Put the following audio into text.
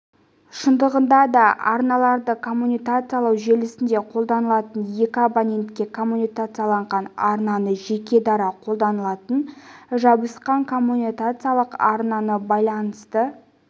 шындығында да арналарды коммутациялау желісінде қолданылатындай екі абонентке коммутацияланған арнаны жеке дара қолданылатын жабысқан коммутациялық арналы байланысты